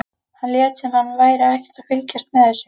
Hann lét sem hann væri ekkert að fylgjast með þessu.